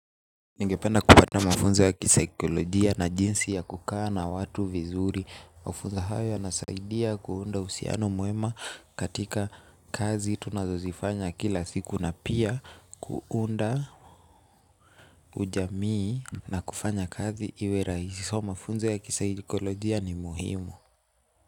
Ningependa kupata mafunzo ya kisaikolojia na jinsi ya kukaa na watu vizuri. Mafunzo hayo yanasaidia kuunda usiano mwema katika kazi tunazozifanya kila siku na pia kuunda ujamii na kufanya kazi iwe raisi so. Mafunzo ya kisaikolojia ni muhimu.